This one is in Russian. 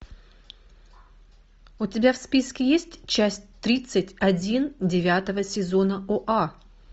у тебя в списке есть часть тридцать один девятого сезона оа